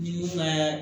Ni ka